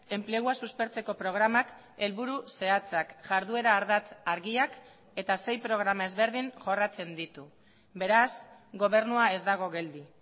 enplegua suspertzeko programak helburu zehatzak jarduera ardatz argiak eta sei programa ezberdin jorratzen ditu beraz gobernua ez dago geldi